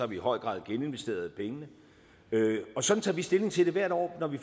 vi i høj grad geninvesteret pengene sådan tager vi stilling til det hvert år når vi